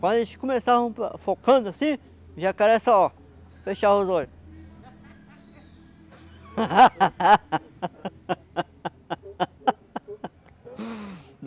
Quando eles começavam focando assim, o jacaré só, ó, fechava os olhos.